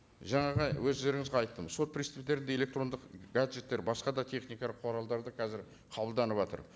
жаңағы өздеріңізге айттым сот представительдерде электрондық гаджеттер басқа да техникалық құралдарды қазір қабылданыватыр